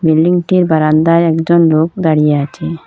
বিল্ডিংটির বারন্দায় একজন লোক দাঁড়িয়ে আছে।